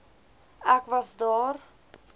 ek was daar